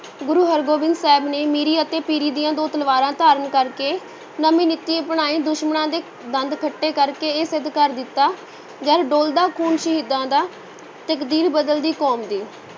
ਗੁਰੂ ਹਰਗੋਬਿੰਦ ਸਾਹਿਬ ਨੇ ਮੀਰੀ ਅਤੇ ਪੀਰੀ ਦੀਆਂ ਦੋ ਤਲਵਾਰਾਂ ਧਾਰਨ ਕਰਕੇ ਨਵੀਂ ਨੀਤੀ ਅਪਣਾਈ ਦੁਸ਼ਮਣਾਂ ਦੇ ਦੰਦ ਖੱਟੇ ਕਰਕੇ ਇਹ ਸਿੱਧ ਕਰ ਦਿੱਤਾ, ਜਦ ਡੁਲਦਾ ਖੂਨ ਸ਼ਹੀਦਾਂ ਦਾ, ਤਕਦੀਰ ਬਦਲਦੀ ਕੌਮਾਂ ਦੀ।